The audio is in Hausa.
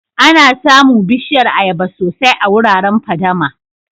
Ana samu Bishiyar ayaba sosai a wuraren fadama.